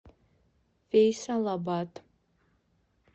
фейсалабад